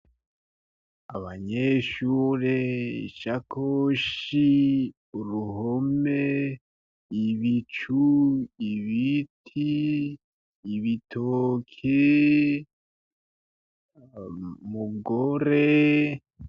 Abanyeshuri, isakoshi, uruhome, ibicu, ibiti, ibitoke, umugore.